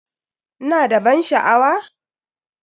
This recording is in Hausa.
Ina da ban sha'awa?